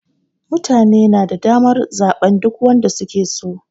Mutane na da damar zaɓen duk wanda su ke so.